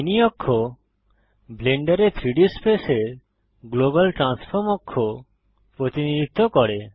mini অক্ষ ব্লেন্ডারে 3ডি স্পেসের গ্লোবাল ট্রান্সফর্ম অক্ষ প্রতিনিধিত্ব করে